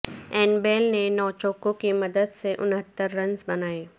ایئن Bell نے نو چوکوں کی مدد سے انہتر رنز بنائے